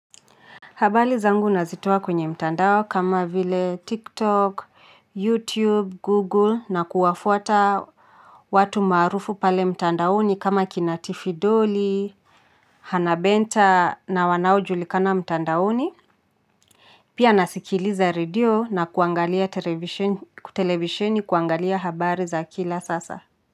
Habari zangu nazitoa kwenye mtandao kama vile TikTok, YouTube, Google na kuwafuata watu maarufu pale mtandaoni kama kinatifi doli, hanabenta na wanao julikana mtandaoni. Pia nasikiliza radio na kuangalia televisheni kuangalia habari za kila sasa.